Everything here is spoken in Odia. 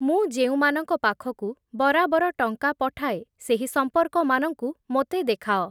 ମୁଁ ଯେଉଁ ମାନଙ୍କ ପାଖକୁ ବରାବର ଟଙ୍କା ପଠାଏ, ସେହି ସମ୍ପର୍କ ମାନଙ୍କୁ ମୋତେ ଦେଖାଅ।